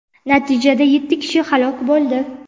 natijada yetti kishi halok bo‘ldi.